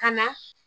Ka na